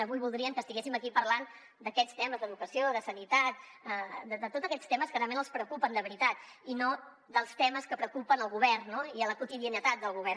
avui voldrien que estiguéssim aquí parlant d’aquests temes d’educació de sanitat de tots aquests temes que realment els preocupen de veritat i no dels temes que preocupen el govern no i la quotidianitat del govern